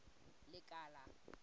lekala